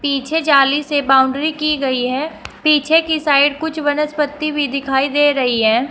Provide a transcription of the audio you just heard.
पीछे जाली से बाउंड्री की गई है पीछे की साइड कुछ वनस्पति भी दिखाई दे रही है।